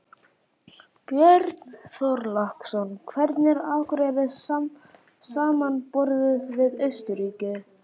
Björn Þorláksson: Hvernig er Akureyri samanborið við Austurríki?